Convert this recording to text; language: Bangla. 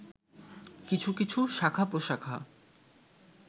কিছু কিছু শাখা-প্রশাখা